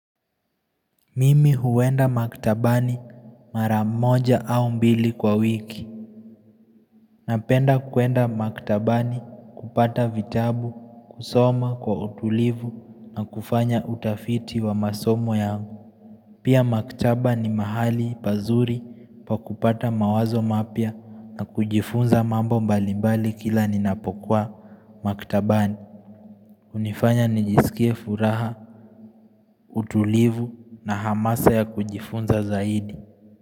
Mimi huenda maktabani mara moja au mbili kwa wiki Napenda kuenda maktabani kupata vitabu, kusoma kwa utulivu na kufanya utafiti wa masomo yangu Pia maktaba ni mahali pazuri pa kupata mawazo mapia na kujifunza mambo mbalimbali kila ninapokwa maktabani hunifanya nijisikie furaha, utulivu na hamasa ya kujifunza zaidi.